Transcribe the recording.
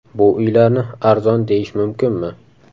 Bu uylarni arzon deyish mumkinmi?